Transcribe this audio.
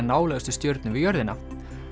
nálægustu stjörnu við jörðina